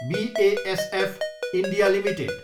BASF India Ltd